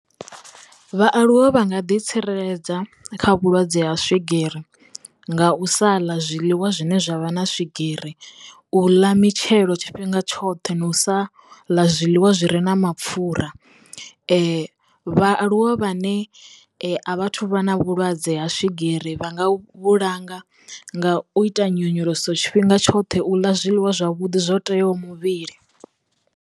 Vhaaluwa vha nga ḓi tsireledza kha vhulwadze ha swigiri nga u sa ḽa zwiḽiwa zwine zwavha na swigiri, u ḽa mitshelo tshifhinga tshoṱhe na u sa ḽa zwiḽiwa zwi re na mapfura vhaaluwa vhane a vhathu vha na vhulwadze ha swigiri vha nga vhulanga nga u ita nyonyoloso tshifhinga tshoṱhe, u ḽa zwiḽiwa zwavhuḓi zwo teaho muvhili.